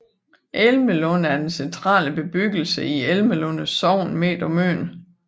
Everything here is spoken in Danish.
Elmelunde er den centrale bebyggelse i Elmelunde Sogn midt på Møn